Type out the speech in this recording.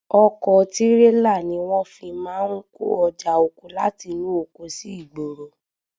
Ọkọ̀ tírélà ni wọ́n fi máa ń kó ọjà oko láti inú oko sí ìgboro.